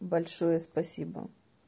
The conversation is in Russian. большое спасибо